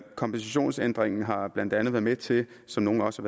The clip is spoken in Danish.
kompensationsændringen har blandt andet været med til som nogle også